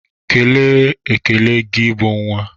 Kele ekele gị bụ nnwa!